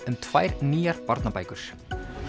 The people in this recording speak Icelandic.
um tvær nýjar barnabækur